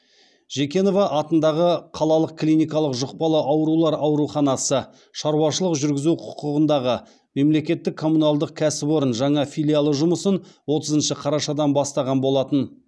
жекенова атындағы қалалық клиникалық жұқпалы аурулар ауруханасы шаруашылық жүргізу құқығындағы мемлекеттік коммуналдық кәсіпорын жаңа филиалы жұмысын отызыншы қарашадан бастаған болатын